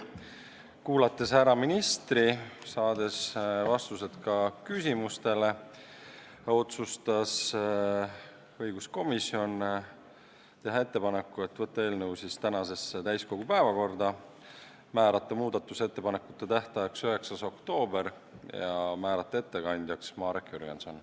Kuulates ära ministri ja saades vastused ka küsimustele, otsustas õiguskomisjon teha ettepaneku võtta eelnõu täiskogu tänasesse päevakorda ning määrata muudatusettepanekute tähtajaks 9. oktoobri ja ettekandjaks Marek Jürgensoni.